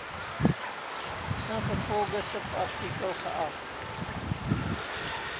ingevolge subartikel geag